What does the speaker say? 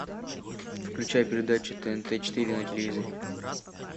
включай передачу тнт четыре на телевизоре